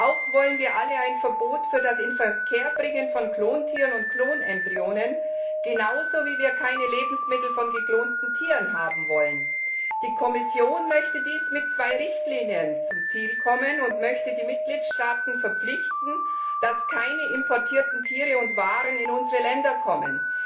Auch wollen wir alle ein Verbot für das Inverkehrbringen von Klontieren und Klonembryonen, genauso wie wir keine Lebensmittel von geklonten Tieren haben wollen! Die Kommission möchte mit zwei Richtlinien zum Ziel kommen und möchte die Mitgliedstaaten verpflichten, dass keine importierten Tiere und Waren in unsere Länder kommen.